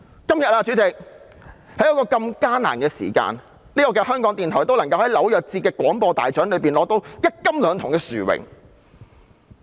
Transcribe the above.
主席，在今天如此艱難的時刻，香港電台仍能在紐約節廣播大獎中獲得一金兩銅的殊榮。